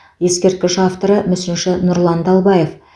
ескерткіш авторы мүсінші нұрлан далбаев